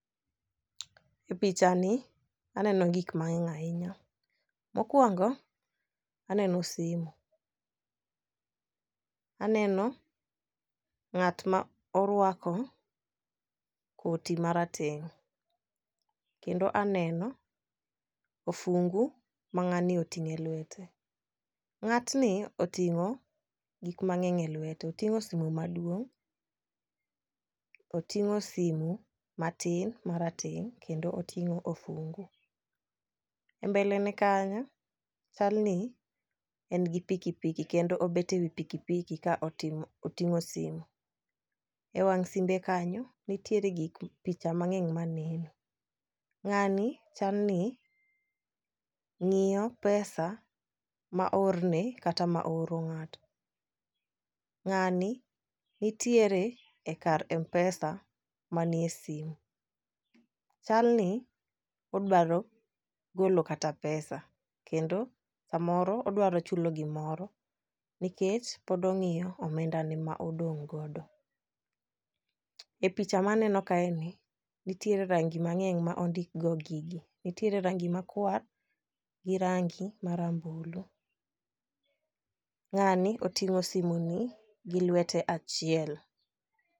E picha ni aneno gik mang'eny ahinya . Mokwongo aneno simu, aneno ng'at ma orwako koti marateng' , kendo aneno ofungu ma ng'ani oting'e lwete. Ng'atni oting'o gik mang'eny elwete otingo sime maduong', oting'o simu matin marateng' kendo otingo ofungu. E mbele ne kanyo chalni en gi pikipiki kendo obete wii pikipiki ka oting'o simu .E wang' simbe kanyo nitiere gik picha mang'eny maneno. Ng'ani chal ni ng'iyo pesa ma oorne kata ma ooro ng'ato, ng'ani nitiere kar mpesa manie simu. Chalni odwaro golo kata pesa kendo samoro odwaro chulo gimoro nikech pod ong'iyo omenda ne ma odong' godo . E picha ma aeno kae ni nitiere rangi mang'eny ma ondik go gigi nitiere rangi makwar gi rangi marambulu. Ng'ani otingo simu ni gi lwete achiel .